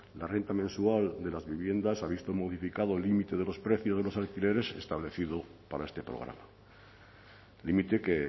la renta mensual de las viviendas se ha visto modificado el límite de los precios de los alquileres establecido para este programa límite que